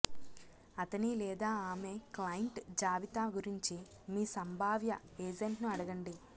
అతని లేదా ఆమె క్లయింట్ జాబితా గురించి మీ సంభావ్య ఏజెంట్ను అడగండి